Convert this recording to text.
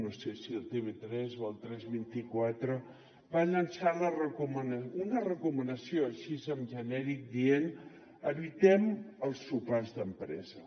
no sé si a tv3 o al tres vint quatre va llançar una recomanació així en genèric dient evitem els sopars d’empresa